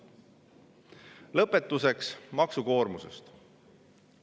Lõpetuseks maksukoormusest.